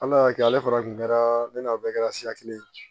Ala y'a kɛ ale fana kun kɛra ne n'aw bɛɛ kɛra siya kelen ye